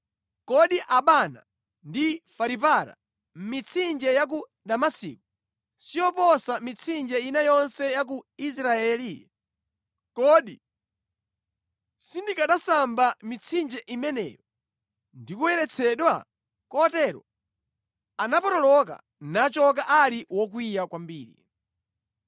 Kodi Abana ndi Faripara, mitsinje ya ku Damasiko, siyoposa mitsinje ina yonse ya ku Israeli? Kodi sindikanasamba mʼmitsinje imeneyo ndi kuyeretsedwa?” Kotero anatembenuka nachoka ali wokwiya kwambiri.